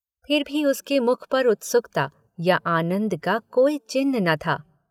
फिर भी उसके मुख पर उत्सुकता या आनन्द का कोई चिन्ह न था।